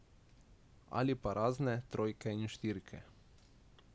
Ali pa razne trojke in štirke.